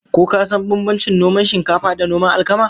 Ko ka san bambancin noman shinkafa da noman alkama?